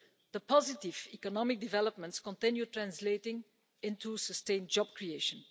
The positive economic developments continue to translate into sustained job creation.